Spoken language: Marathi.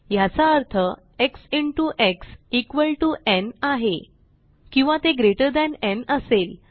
ह्याचा अर्थ x into x equal to n आहे किंवा ते ग्रेटर थान न् असेल